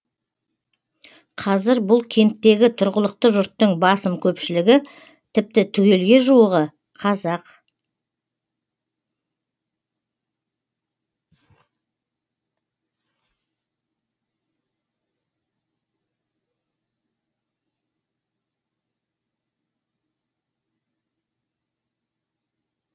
қазір бұл кенттегі тұрғылықты жұрттың басым көпшілігі тіпті түгелге жуығы қазақ